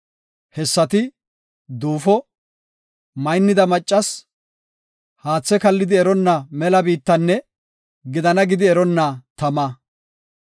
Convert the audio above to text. Hessati, duufo, maynnida maccas, haathe kallidi eronna mela biittanne, “Gidana!” gidi eronna tama.